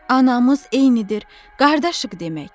Anamız eynidir, qardaşıq demək.